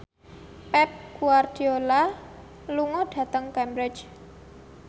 Pep Guardiola lunga dhateng Cambridge